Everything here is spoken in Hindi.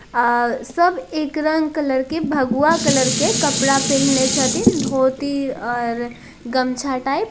आ सब एक रंग कलर के भगवा कलर के कपड़ा पहिनले हतिन धोती और गमछा टाइप |